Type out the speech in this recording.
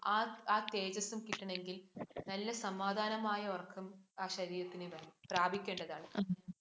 ആ തേജസും കിട്ടണമെങ്കിൽ, നല്ല സമാധാനമായ ഉറക്കം ആ ശരീരം പ്രാപിക്കേണ്ടതാണ്.